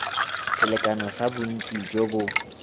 selekano sa bontsi jo bo